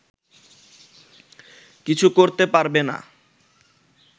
কিছু করতে পারবে না